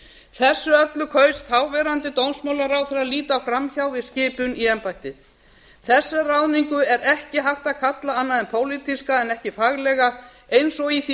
þessu öllu kaus þáverandi dómsmálaráðherra að líta fram hjá við skipun í embættið þessa ráðningu er ekki hægt að kalla annað en pólitíska en ekki faglega eins og í því máli sem